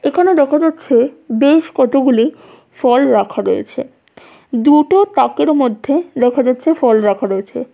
এখানে দেখা যাচ্ছে বেশ কতগুলি ফল রাখা রয়েছে দুটো তাকের মধ্যে দেখা যাচ্ছে ফল রাখা রয়েছে।